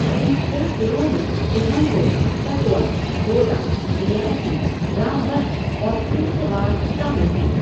इन छह जिलों में उधमपुर, कठुआ, डोडा, रियासी, रामबन और किश्तवाड़ शामिल हैं।